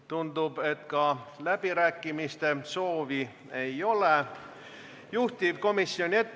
Tundub, et ka läbirääkimiste soovi ei ole.